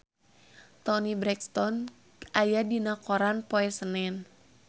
Toni Brexton aya dina koran poe Senen